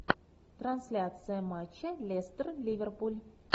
трансляция матча лестер ливерпуль